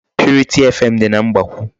Purity FM dị na Mgbakwụ.